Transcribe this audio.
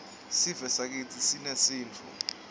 sivesakitsi sinesintfu